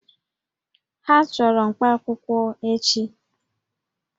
Ha chọrọ mkpaakwụkwọ echi